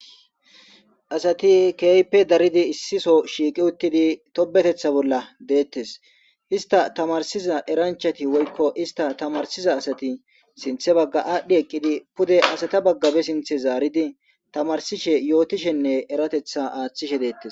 Asati kehippe daridi issiso shiqi uttidi tobetetha bolla de'ettes ista tamarsiza eranchati woykon ista tamarsiza asati sinthe baga adhi eqidi pudde asata baga ba sinthe zaridi tamarsish yotishenne eratetha athishe detes.